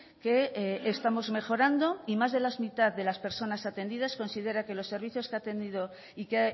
que estamos mejorando y más de la mitad de las personas atendidas considera que los servicios que ha tenido y que